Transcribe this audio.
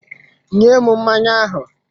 Nye m mmanya ahụ!